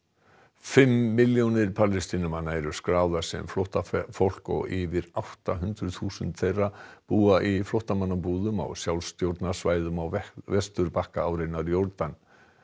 fimm milljónir Palestínumanna eru skráðar sem flóttafólk og yfir átta hundruð þúsund þeirra búa í flóttamannabúðum á sjálfstjórnarsvæðum á Vesturbakka árinnar Jórdan